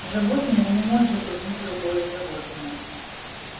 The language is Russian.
животное не может убить другое животное